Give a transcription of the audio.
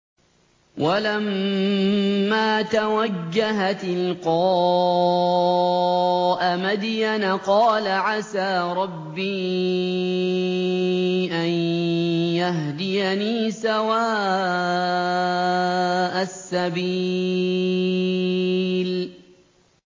وَلَمَّا تَوَجَّهَ تِلْقَاءَ مَدْيَنَ قَالَ عَسَىٰ رَبِّي أَن يَهْدِيَنِي سَوَاءَ السَّبِيلِ